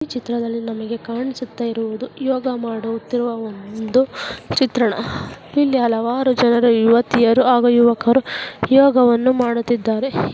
ಈ ಚಿತ್ರದಲ್ಲಿ ನಮಗೆ ಕಾಣಿಸುತ್ತ ಇರುವುದು ಯೋಗ ಮಾಡುತ್ತಿರುವ ಒಂದು ಚಿತ್ರಣ ಇಲ್ಲಿ ಹಲವಾರು ಜನ ಯುವತಿಯರು ಹಾಗೂ ಯುವಕರು ಯೋಗವನ್ನು ಮಾಡುತ್ತಿದ್ದಾರೆ.